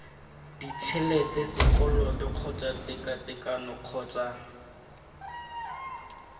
ditšhelete sekoloto kgotsa tekatekano kgotsa